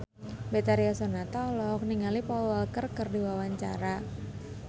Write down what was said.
Betharia Sonata olohok ningali Paul Walker keur diwawancara